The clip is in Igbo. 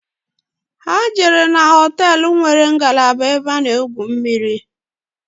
Ha jere hoteelu igwu mmiri